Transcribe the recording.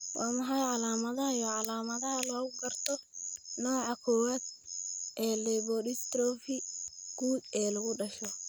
Waa maxay calaamadaha iyo calaamadaha lagu garto nooca kowaad ee lipodystrophy guud ee lagu dhasho?